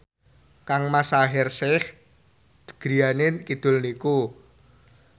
kangmas Shaheer Sheikh griyane kidul niku